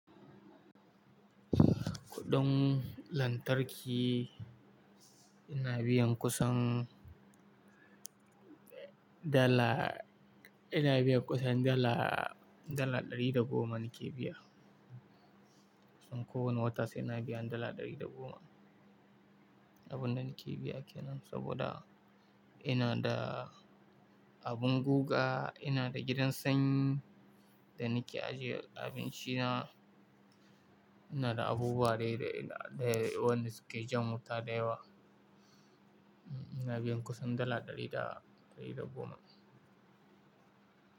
Kuɗin lantarki ina biyan kusan dala, ina biyan kusan dala, dala ɗari da goma nake biya. Kusan kowane wata sai ina biyan dala ɗari da goma. Abin da nake biya ke nan saboda ina da abin guga, ina da gidan sanyi da nake ajiye abinci na, ina da abubuwa dai, da wanda suke jan wuta da yawa. Ina biyan kusan dala ɗari da, ɗari da goma.